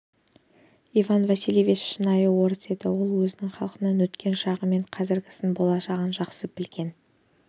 иван васильевич шынайы орыс еді ол өз халқының өткен шағы мен қазіргісін болашағын жақсы білетін